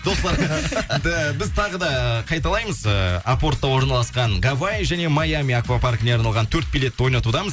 достар біз тағы да қайталаймыз ыыы апортта орналасқан гавай және майами аквапаркіне арналған төрт билетті ойнатудамыз